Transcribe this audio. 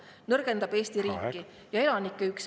See nõrgendab Eesti riiki ja elanike üksmeelt …